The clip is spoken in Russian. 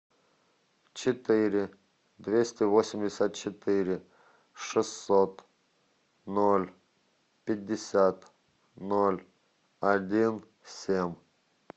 четыре двести восемьдесят четыре шестьсот ноль пятьдесят ноль один семь